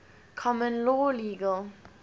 common law legal